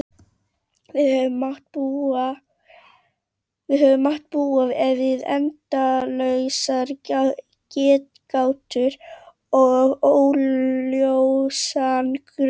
Við höfum mátt búa við endalausar getgátur og óljósan grun.